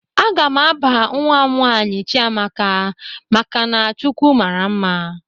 A ga m aba nwa m nwaanyị Chiamaka maka na "Chukwu mara mma"